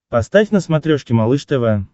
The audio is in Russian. поставь на смотрешке малыш тв